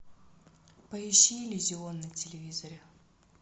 поищи иллюзион на телевизоре